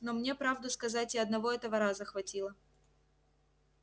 но мне правду сказать и одного этого раза хватило